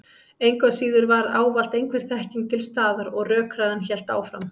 Engu að síður var ávallt einhver þekking til staðar og rökræðan hélt áfram.